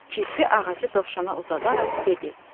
Kirpi ağacı dovşana uzadaraq dedi: